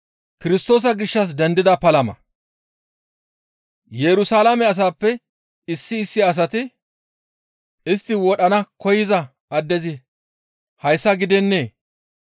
Yerusalaame asaappe issi issi asati, «Istti wodhana koyza addezi hayssa gidennee?